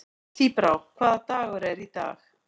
Tíbrá, hvaða dagur er í dag?